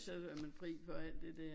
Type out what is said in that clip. Så er man fri for alt det der